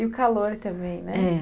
E o calor também, né? é.